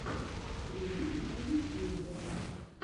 стримы на ютьюбе